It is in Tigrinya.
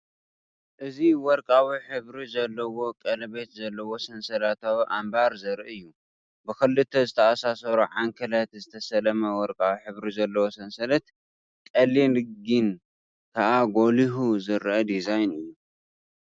እዚ ወርቃዊ ሕብሪ ዘለዎ ቀለቤት ዘለዎ ሰንሰለታዊ ኣምባር ዘርኢ እዩ። ብኽልተ ዝተኣሳሰሩ ዓንኬላት ዝተሰለመ ወርቃዊ ሕብሪ ዘለዎ ሰንሰለት፤ ቀሊል ግን ከኣ ጐሊሑ ዝረአ ዲዛይን እዩ።